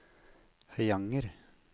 Høyanger